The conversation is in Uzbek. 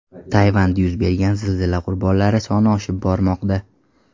Tayvanda yuz bergan zilzila qurbonlari soni oshib bormoqda .